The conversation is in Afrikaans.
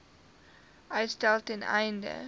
uitstel ten einde